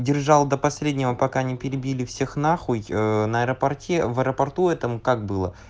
держалась до последнего пока не перебили всех на хуй э на аэропорте в аэропорту этом как было